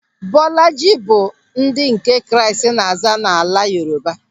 Bọlajị bụ ndị nke Kraịst na-aza n'ala Yoruba.